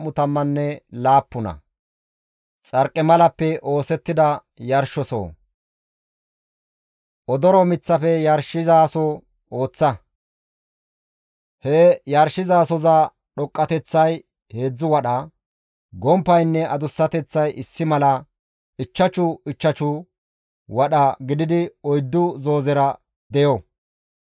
«Odoro miththafe yarshizaso ooththa. He yarshizasoza dhoqqateththay heedzdzu wadha; gomppaynne adussateththay issi mala, ichchashu ichchashu wadha gididi oyddu zoozera deyo.